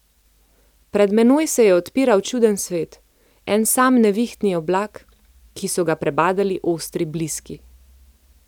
Pred menoj se je odpiral čuden svet, en sam nevihtni oblak, ki so ga prebadali ostri bliski.